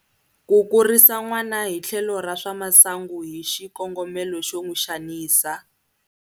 Ku kurisa n'wana hi tlhelo ra swa masungu hi xikongomelo xo n'wi xanisa.